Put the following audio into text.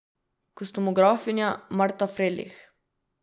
Kostumografinja Marta Frelih.